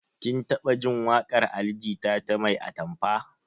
Kin taɓa jin waƙar ali jita ta 'mai atamfa'?